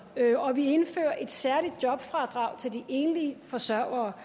og vi indførte et særligt jobfradrag til de enlige forsørgere